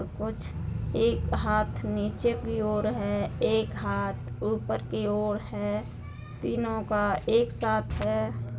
कुछ एक हाथ नीचे की ओर है एक हाथ ऊपर की ओर है। तीनों का एक साथ है --